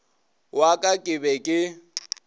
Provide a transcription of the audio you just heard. wa ka ke be ke